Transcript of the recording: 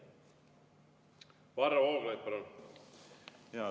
Varro Vooglaid, palun!